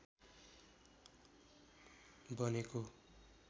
बनेको